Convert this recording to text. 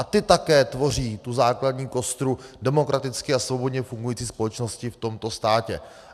A ty také tvoří tu základní kostru demokraticky a svobodně fungující společnosti v tomto státě.